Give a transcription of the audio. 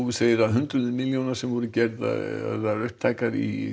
segir að hundruð milljóna sem voru gerðar upptækar í